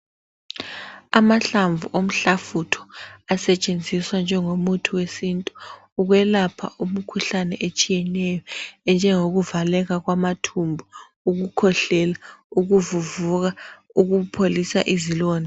Amahlamvu omhlafutho asetshenziswa njengomuthi wesintu ukwelapha imikhuhlane etshiyeyo njengokuvaleka kwamathumbu ukukhwehlela ukuvuvuka ukupholisa izilonda